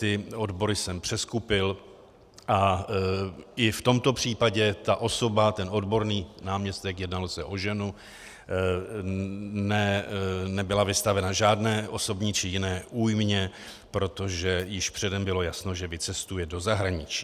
Ty odbory jsem přeskupil a i v tomto případě ta osoba, ten odborník, náměstek, jednalo se o ženu, nebyla vystavena žádné osobní či jiné újmě, protože již předem bylo jasno, že vycestuje do zahraničí.